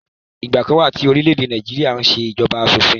Ìgbà kan wà tí orílẹ̀-èdè Nàìjíríà n ṣé ìṣèjọba asọ̀fin